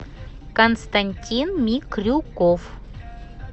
константин микрюков